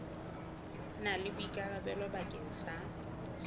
na le boikarabelo bakeng sa